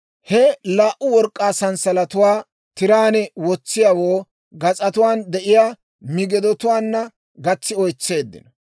He laa"u work'k'aa sanssalatatuwaa tiraan wotsiyaawoo gas'atuwaan de'iyaa migidotuwaanna gatsi oytseeddino.